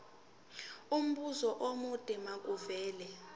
umbuzo omude makuvele